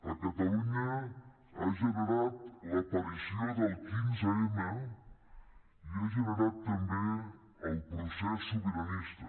a catalunya ha generat l’aparició del quinze m i ha generat també el procés sobiranista